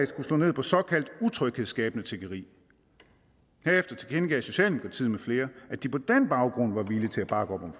skulle slå ned på såkaldt utryghedsskabende tiggeri herefter tilkendegiv socialdemokratiet med flere at de på den baggrund var villige til at bakke op om